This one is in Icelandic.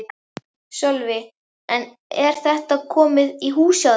Sölvi: En er þetta komið í hús hjá þér?